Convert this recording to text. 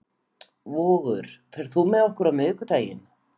Vogur, ferð þú með okkur á miðvikudaginn?